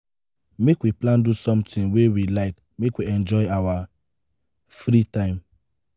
make we plan do sometin wey we like make we enjoy our free time